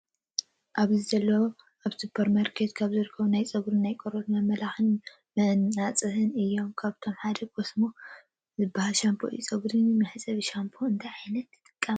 ኣብዚ ዘለው ኣብስፖርማርኬት ካብ ዝርከቡ ናይ ፀጉረን ናይ ቆርበትን መመላክዒ መናፅሂ እዮም ።ካብኣቶም ሓደ ኮንሶም ዝበሃል ሻምፖ እዩ። ፀጉሪ መሕፀቢ ሻንፖ እንታይ ዓይነታት ትጥቀማ?